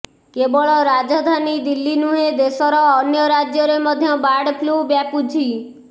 କେବଳ ରାଜଧାନୀ ଦିଲ୍ଲୀ ନୁହେଁ ଦେଶର ଅନ୍ୟ ରାଜ୍ୟରେ ମଧ୍ୟ ବାର୍ଡ ଫ୍ଳୁ ବ୍ୟାପୁଛି